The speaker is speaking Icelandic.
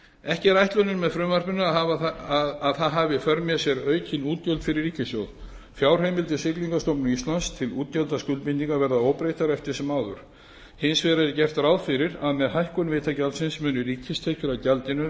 ekki er ætlunin með frumvarpinu að það hafi í för með sér aukin útgjöld fyrir ríkissjóð fjárheimildir siglingastofnunar íslands til útgjaldaskuldbindinga verða óbreyttar eftir sem áður hins vegar er gert ráð fyrir að með hækkun vitagjaldsins muni ríkistekjur af gjaldinu